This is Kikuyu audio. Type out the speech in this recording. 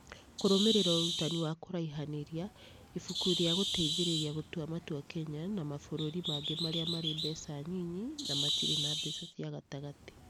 Kũrũmĩrĩra Ũrutani wa Kũraihanĩria: Ibuku rĩa Gũteithĩrĩria Gũtua Matua kenya na Mabũrũri mangĩ marĩa Marĩ Mbeca Nyinyi na Matirĩ na Mbeca cia Gatagatĩ